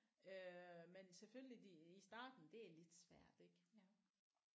Øh men selvfølgelig de i starten det er lidt svært ik